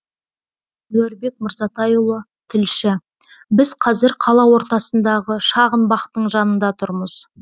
әнуарбек мырзатайұлы тілші біз қазір қала ортасындағы шағын бақтың жанында тұрмыз